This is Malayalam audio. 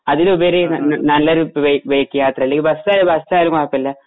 അതിലുപരി ന ന നല്ലൊരു ബൈക്ക് യാത്ര ബസാ ബസായാലും കൊയപ്പമില്ല